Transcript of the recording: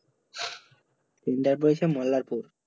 centre পরীক্ষা মোল্লারপুর